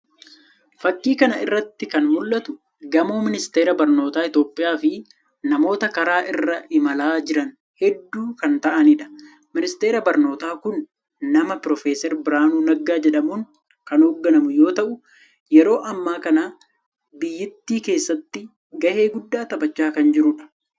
Fakii kana irratti kan mul'atu gamoo ministeera barnootaa Itoophiyaa fi namoota karaa irra imalaa jiran heedhuu kan ta'anidha. Ministeerri barnootaa kun nama Pirofooser Biraanuu Naggaa jedhamuun kan hooganamu yoo ta'u yeroo ammaa kana biyyittii keessatti gahee guddaa taphachaa kan jirudha.